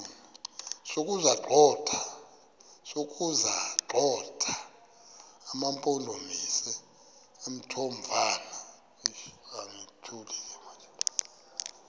sokuwagxotha amampondomise omthonvama